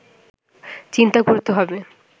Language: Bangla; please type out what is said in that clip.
চিন্তা করতে হবে